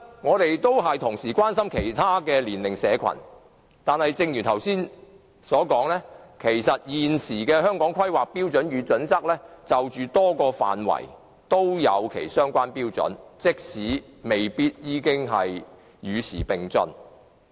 我們也關心其他年齡社群，但正如我剛才所說，現時的《規劃標準》就多個範圍訂立相關標準，雖然未必能夠與時並進。